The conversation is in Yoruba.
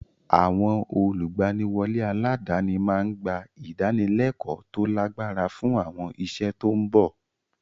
Àwọn olùgbaniwọlé aládàáni máa ń gba ìdánilẹ́kọ̀ọ́ tó lágbára fún àwọn iṣẹ́ tó ń bọ̀.